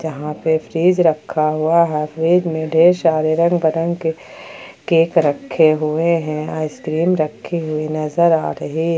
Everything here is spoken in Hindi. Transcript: यहां पे फ्रिज रखा हुआ है फ्रिज में ढेर सारे रंग बिरंग के केक रखे हुए है आइसक्रीम रखी हुई नजर आ रही--